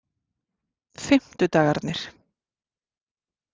fimmtudagarnir